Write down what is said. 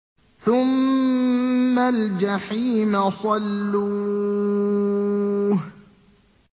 ثُمَّ الْجَحِيمَ صَلُّوهُ